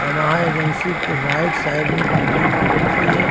Yamaha agency के right side में TVS. Agency है।